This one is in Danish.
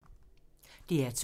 DR2